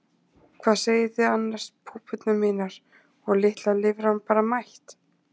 Hvað segið þið annars púpurnar mínar og litla lirfan bara mætt?